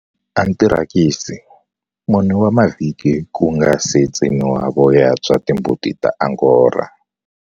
Anthirakisi, 4 wa mavhiki ku nga si tsemiwa voya bya timbuti ta Angora.